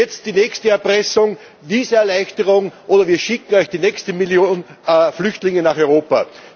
Und jetzt die nächste Erpressung Visa Erleichterung, oder wir schicken euch die nächste Million Flüchtlinge nach Europa.